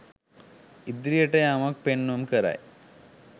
ඉදිරියට යාමක් පෙන්නුම් කරයි.